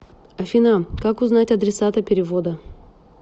афина как узнать адресата перевода